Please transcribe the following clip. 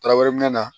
Taraweleminna